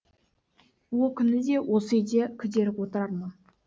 о күні де осы үйде күдері отырар ма